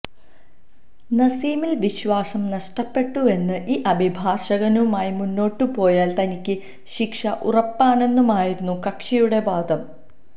നസീമില് വിശ്വാസം നഷ്ടപ്പെട്ടുവെന്നും ഈ അഭിഭാഷകനുമായി മുന്നോട്ടുപോയാല് തനിക്ക് ശിക്ഷ ഉറപ്പാണെന്നുമായിരുന്നു കക്ഷിയുടെ വാദം